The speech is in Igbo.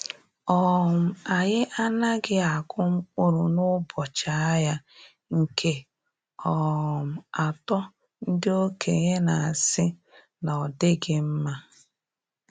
um Anyị anaghị akụ mkpụrụ n’ụbọchị ahịa nke um atọ ndi okenye na-asị na ọdighi mma.